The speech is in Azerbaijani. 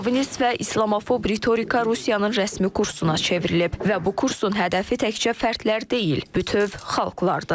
Şovinist və islamofob ritorika Rusiyanın rəsmi kursuna çevrilib və bu kursun hədəfi təkcə fərdlər deyil, bütöv xalqlardır.